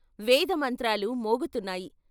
వేదమంత్రాలు మోగుతున్నాయి.